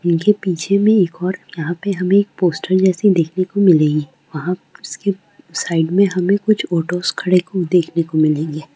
उनके पीछे में एक ओर यहाँ पे हमें एक पोस्टर जैसी देखनो को मिल रही है वहाँ पे उसके साइड में हमें कुछ ऑटोस खड़े हुए देखने को मिल रहे हैं।